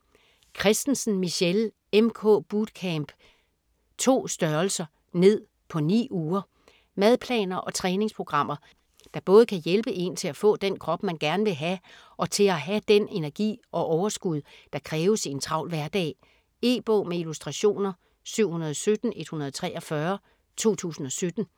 Kristensen, Michelle: MK bootcamp: 2 str. ned på 9 uger Madplaner og træningsprogrammer der både kan hjælpe én til at få den krop man gerne vil have, og til at have den energi og overskud der kræves i en travl hverdag. E-bog med illustrationer 717143 2017.